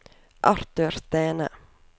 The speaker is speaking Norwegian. Arthur Stene